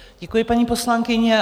Děkuji, paní poslankyně.